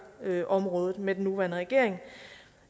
ældreområdet med den nuværende regering